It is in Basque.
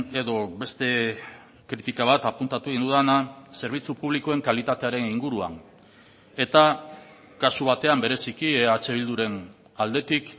edo beste kritika bat apuntatu egin dudana zerbitzu publikoen kalitatearen inguruan eta kasu batean bereziki eh bilduren aldetik